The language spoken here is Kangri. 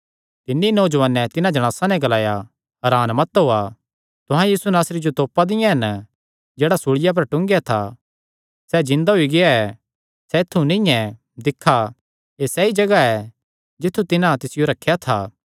तिन्नी नौजुआने तिन्हां जणासां नैं ग्लाया हरान मत होएया तुहां यीशु नासरी जो जेह्ड़ा सूल़िया पर टूंगेया था तिसियो तोपा दियां हन सैह़ जिन्दा होई गेआ ऐ सैह़ ऐत्थु नीं ऐ दिक्खा एह़ सैई जगाह ऐ जित्थु तिन्हां तिसियो रखेया था